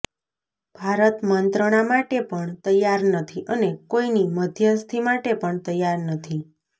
ભારત મંત્રણા માટે પણ તૈયાર નથી અને કોઇની મધ્યસ્થી માટે પણ તૈયાર નથી